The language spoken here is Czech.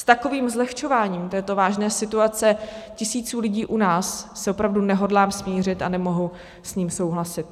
S takovým zlehčováním této vážné situace tisíců lidí u nás se opravdu nehodlám smířit a nemohu s ním souhlasit.